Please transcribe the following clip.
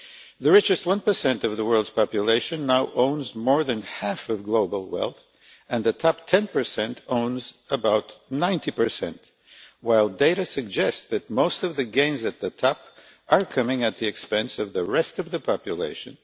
The richest 1 of the world's population now owns more than half of global wealth and the top 10 owns about 90, while data suggest that most of the gains at the top are coming at the expense of the rest of the population.